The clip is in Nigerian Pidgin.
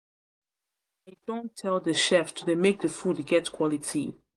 don tell the chef to dey make the food get quality